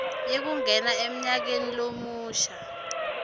yekungena emnyakeni lomusha